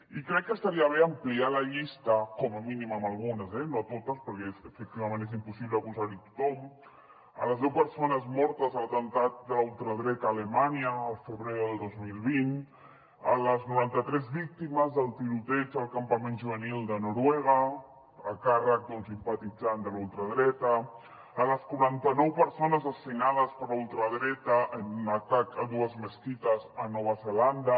i crec que estaria bé ampliar la llista com a mínim amb algunes eh no totes perquè efectivament és impossible posar hi a tothom amb les deu persones mortes a l’atemptat de la ultradreta a alemanya al febrer del dos mil vint amb les noranta tres víctimes del tiroteig al campament juvenil de noruega a càrrec d’un simpatitzant de la ultradreta amb les quaranta nou persones assassinades per la ultradreta en un atac a dues mesquites a nova zelanda